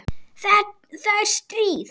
Það er stríð!